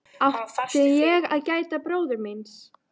Átti ég að gæta bróður míns?